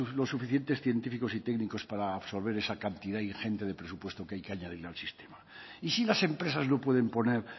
los suficientes científicos y técnicos para absorber esa cantidad ingente de presupuesto que hay que añadirle al sistema y si las empresas no pueden poner